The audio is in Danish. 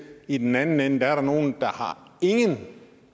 i den anden ende er der nogle der har ingen